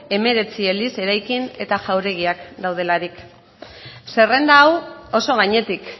hemeretzi eliz eraikin eta jauregiak daudelarik zerrenda hau oso gainetik